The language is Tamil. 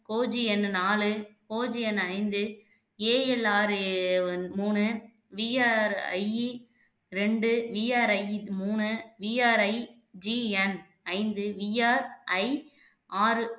OGN நாலு OGN ஐந்து ALRAone மூணு VRI இரண்டு VRI மூணு VRIGN ஐந்து VRI ஆறு